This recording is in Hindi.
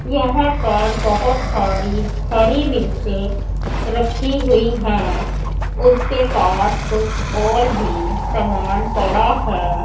यहां पर बहुत सारी हरी मिर्चें रखी हुई हैं उसके पास कुछ और भी सामान पड़ा है।